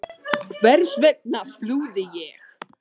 Hvers vegna flúði ég?